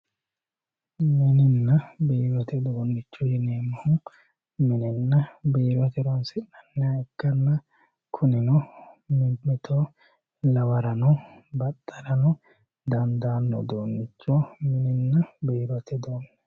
mininna biirote uduunnicho yineemmohu minenna biirote horonsi'nanniha ikkanna kunino mimmito lawarano baxxarano dandaanno uduunnicho mininna biirote uduunnicho yinanni.